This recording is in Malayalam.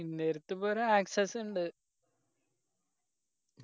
എന്നേരത്ത് ഇപ്പൊ ഒരു access ഇണ്ട്